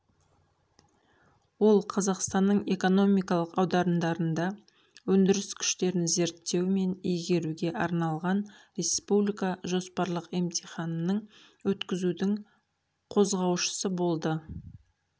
ол қазақстанның экономикалық аудандарында өндіріс күштерін зерттеу мен игеруге арналған республика жоспарлық емтиханның өткізудің қозғаушысы болды